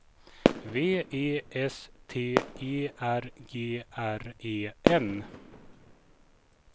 V E S T E R G R E N